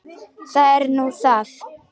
Það er nú það.